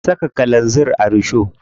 An saka kalanzir a risho.